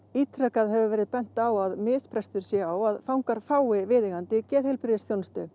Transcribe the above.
ítrekað hefur verið bent á það að misbrestur sé á að fangar fái viðeigandi geðheilbrigðisþjónustu